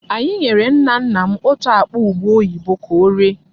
Anyị nyere nna nna m otú akpa ubé oyibo ka oree.